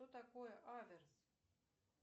что такое аверс